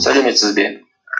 сәлеметсіз бе